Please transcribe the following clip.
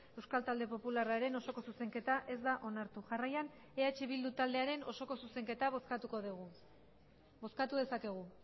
euskal talde popularraren osoko zuzenketa ez da onartu jarraian eh bildu taldearen osoko zuzenketa bozkatuko dugu bozkatu dezakegu